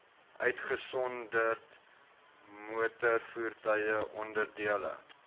uitgesonderd motorvoertuie onderdele